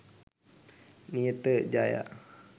niyatha jaya